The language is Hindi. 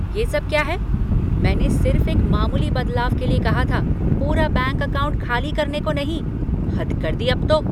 ये सब क्या है! मैंने सिर्फ़ एक मामूली बदलाव के लिए कहा था, पूरा बैंक अकाउंट खाली करने को नहीं! हद कर दी अब तो।